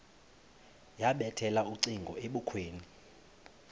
yabethela ucingo ebukhweni